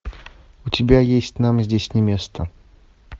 у тебя есть нам здесь не место